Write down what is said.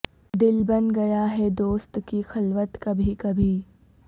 دل بن گیا ہے دوست کی خلوت کبھی کبھی